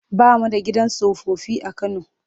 Ba mu da gidan tsofaffi a Kano.